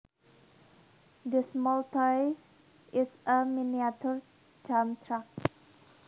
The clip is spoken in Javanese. This small toy is a miniature dump truck